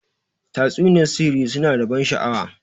Tatsuniyar sihiri su na da ban sha'awa.